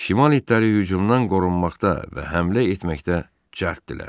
Şimal itləri hücumdan qorunmaqda və həmlə etməkdə cərtdirlər.